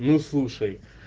ну слушай